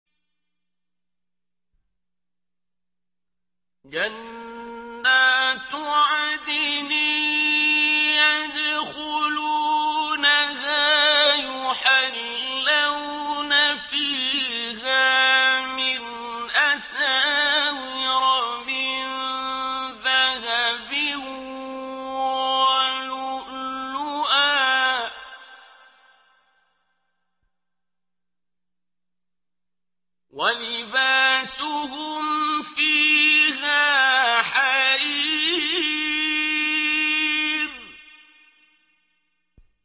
جَنَّاتُ عَدْنٍ يَدْخُلُونَهَا يُحَلَّوْنَ فِيهَا مِنْ أَسَاوِرَ مِن ذَهَبٍ وَلُؤْلُؤًا ۖ وَلِبَاسُهُمْ فِيهَا حَرِيرٌ